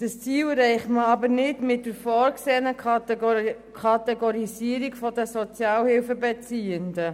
Dieses Ziel erreicht man aber nicht mit der vorgesehenen Kategorisierung der Sozialhilfebeziehenden.